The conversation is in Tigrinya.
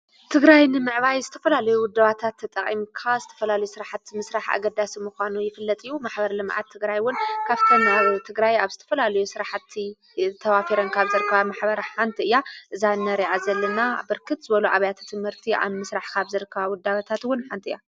ትግራይ ንምዕባይ ዝተፈላሉይ ወዳባታት ጠቐምካ ዝተፈላል ሥራሕቲ ምሥራሕ ኣገዳስ ምዃኑ ይፍለጥዩ ማኅበርለመኣት ትግራይውን ካብተንሩ ትግራይ ኣብ ስተፈላልዩ ሥረሕቲ ተዋፊረንካኣብ ዘርካባ ማኅበራ ሓንቲ እያ እዛ ነርኣ ዘልና ብርክት ዘበሉ ኣብያተ ትምህርቲ ኣንምሥራሕኻብ ዘርካ ውዳባታትውን ሓንቲ እያ።